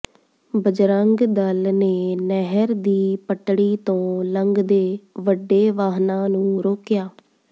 ਬਜਰੰਗ ਦਲ ਨੇ ਨਹਿਰ ਦੀ ਪਟੜੀ ਤੋਂ ਲੰਘਦੇ ਵੱਡੇ ਵਾਹਨਾਂ ਨੂੰ ਰੋਕਿਆ